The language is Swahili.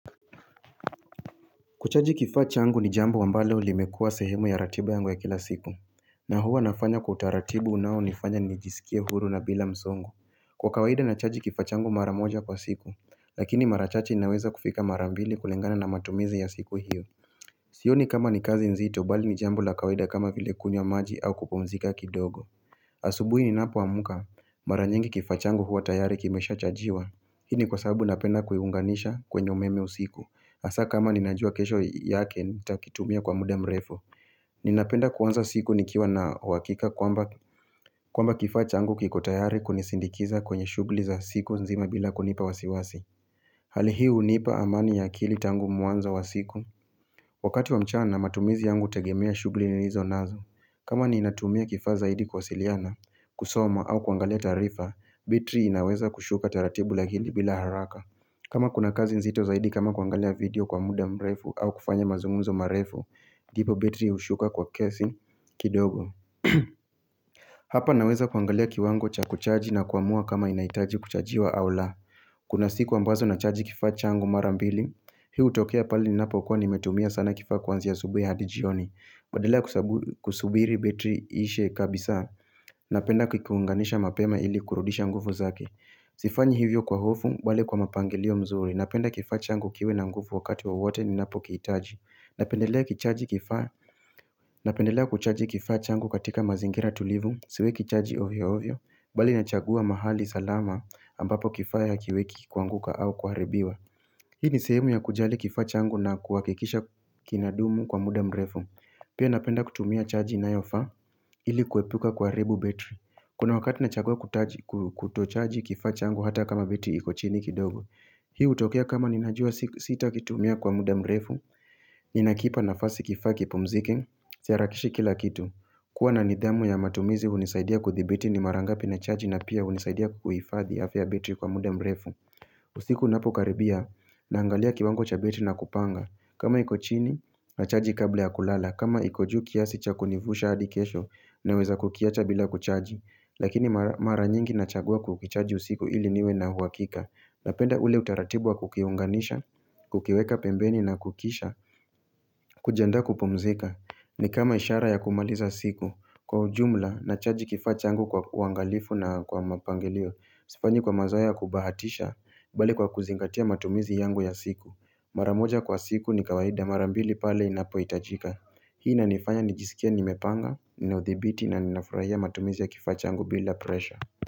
Kuchaji kifaa changu ni jambo ambalo limekua sehemu ya ratiba yangu ya kila siku na huwa nafanya kwa utaratibu unao nifanya nijisikie huru na bila msongo. Kwa kawaida na chaji kifaa changu mara moja kwa siku Lakini mara chache inaweza kufika mara mbili kulingana na matumizi ya siku hiyo Sioni kama ni kazi nzito bali ni jambo la kawaida kama vile kunywa maji au kupumzika kidogo Asubuhi ninapo amka Mara nyingi kifaa changu huwa tayari kimesha chajiwa. Hii ni kwa sababu napenda kuiunganisha kwenye umeme usiku hasa kama ninajua kesho yake nitakitumia kwa muda mrefu Ninapenda kuanza siku nikiwa na uhakika kwamba kwamba kifaa changu kiko tayari kunisindikiza kwenye shughuli za siku nzima bila kunipa wasiwasi Hali hii hunipa amani ya akili tangu mwanzo wa siku Wakati wa mchana matumizi yangu hutegemea shughuli nilizo nazo kama ninatumia kifaa zaidi kuwasiliana, kusoma au kuangalia taarifa, betri inaweza kushuka taratibu lakini bila haraka kama kuna kazi nzito zaidi kama kuangalia video kwa muda mrefu au kufanya mazungumzo marefu ndipo betri hushuka kwa kiasi kidogo Hapa naweza kuangalia kiwango cha kuchaji na kuamua kama inahitaji kuchajiwa au la Kuna siku ambazo na chaji kifaa changu mara mbili Hii hutokea pale ninapo kua nimetumia sana kifaa kwanzia asubuhi hadi jioni Badala kusabu kusubiri betri iishe kabisa Napenda kukiunganisha mapema ili kurudisha nguvu zake Sifanyi hivyo kwa hofu, bali kwa mapangilio mzuri Napenda kifaa changu kiwe na nguvu wakati wowote ninapo kihitaji. Napendelea kichaji kifaa napendelea kuchaji kifaa changu katika mazingira tulivu siweki chaji ovyo ovyo, bali nachagua mahali salama ambapo kifaa hakiweki kuanguka au kuharibiwa Hii ni sehemu ya kujali kifaa changu na kuhakikisha kinadumu kwa muda mrefu Pia napenda kutumia chaji inayofaa, ili kuepuka kuharibu betri kuna wakati nachagua kutaji ku kutochaji kifaa changu hata kama betri iko chini kidogo Hii hutokea kama nina jua si sita kitumia kwa muda mrefu Ninakipa nafasi kifaa kipumzike si harakishi kila kitu kuwa na nidhamu ya matumizi hunisaidia kuthibiti ni mara ngapi na chaji na pia hunisaidia kuhifadhi afya ya betri kwa muda mrefu usiku unapo karibia na angalia kiwango cha betri na kupanga. Kama iko chini na chaji kabla ya kulala kama iko juu kiasi cha kunivusha hadi kesho naweza kukiacha bila kuchaji lakini mara mara nyingi nachagua kukichaji usiku ili niwe na uhakika napenda ule utaratibu kukiunganisha, kukiweka pembeni na kukisha kujiandaa kupumzika ni kama ishara ya kumaliza siku kwa ujumla, na chaji kifaa changu kwa uangalifu na kwa mapangilio sifanyi kwa mazoea ya kubahatisha bali kwa kuzingatia matumizi yangu ya siku mara moja kwa siku ni kawaida mara mbili pale inapo hitajika Hii na inifanya nijisikie nimepanga Nina udhibiti na ninafurahia matumizi ya kifaa changu bila presha.